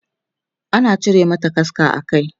ana cire mata kaska a Kai